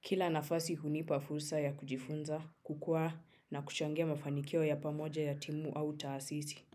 Kila nafasi hunipa fursa ya kujifunza kukua na kuchangia mafanikio ya pamoja ya timu au taasisi.